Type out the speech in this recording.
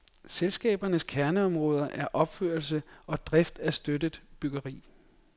Selskabernes kerneområde er opførelse og drift af støttet byggeri.